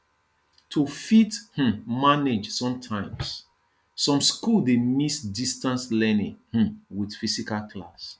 to fit um manage sometimes some school dey mix distance learning um with physical class